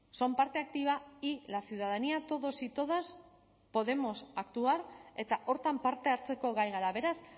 son parte activa y la ciudadanía todos y todas podemos actuar eta horretan parte hartzeko gai gara beraz